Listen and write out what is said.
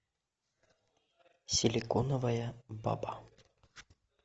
силиконовая баба